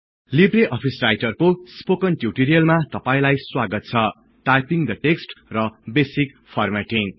Libre Office Writer को spoken ट्युटोरिअलमा तपाईंलाई स्वागत छ - टाईपीङ द टेक्सट् र बेसिक फर्मेटिङ्ग